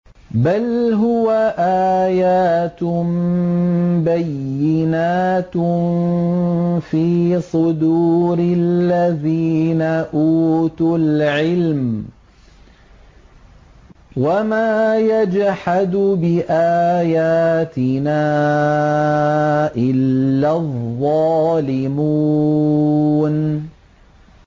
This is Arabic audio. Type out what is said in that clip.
بَلْ هُوَ آيَاتٌ بَيِّنَاتٌ فِي صُدُورِ الَّذِينَ أُوتُوا الْعِلْمَ ۚ وَمَا يَجْحَدُ بِآيَاتِنَا إِلَّا الظَّالِمُونَ